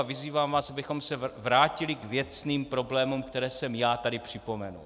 A vyzývám vás, abychom se vrátili k věcným problémům, které jsem já tady připomenul.